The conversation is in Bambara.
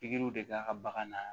Pikiriw de bɛ a ka bagan na